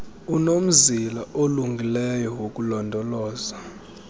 unomzila olungileyo wokulondoloza